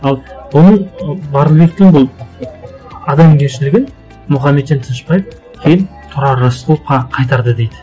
ал оның барлыбектің бұл адамгершілігін мұхаметжан тынышбаев кейін тұрар рысқұловқа қайтарды дейді